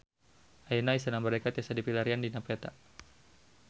Ayeuna Istana Merdeka tiasa dipilarian dina peta